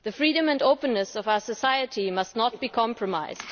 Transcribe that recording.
The freedom and openness of our society must not be compromised.